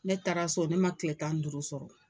Ne taara so ne ma kile tan nin duuru sɔrɔ.